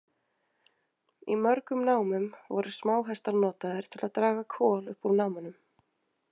Í mörgum námum voru smáhestar notaðir til að draga kol upp úr námunum.